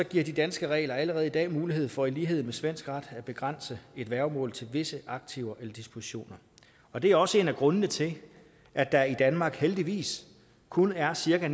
giver de danske regler allerede i dag mulighed for i lighed med svensk ret at begrænse et værgemål til visse aktiver eller diskussioner og det er også en af grundene til at der i danmark heldigvis kun er cirka